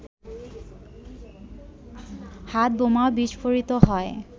হাতবোমা বিস্ফোরিত হয়